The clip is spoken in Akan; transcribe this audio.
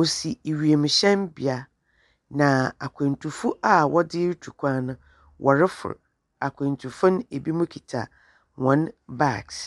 osi ewiemuhyɛn bia na akwantu fo aa wɔre tu kwan no wɔrefow akwantufo no ebi mo kita wɔn bags.